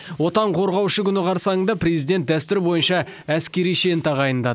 отан қорғаушы күні қарсаңында президент дәстүр бойынша әскери шен тағайындады